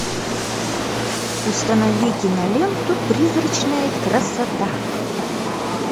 установи киноленту призрачная красота